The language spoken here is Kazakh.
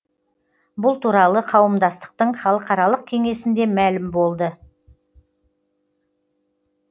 бұл туралы қауымдастықтың халықаралық кеңесінде мәлім болды